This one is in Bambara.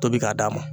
Tobi k'a d'a ma